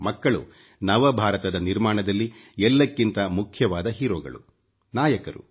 ಮಕ್ಕಳು ನವ ಭಾರತದ ನಿರ್ಮಾಣದಲ್ಲಿ ಎಲ್ಲಕ್ಕಿಂತ ಮುಖ್ಯವಾದ ಹೀರೋಗಳು ನಾಯಕರು